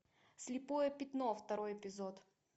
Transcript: слепое пятно второй эпизод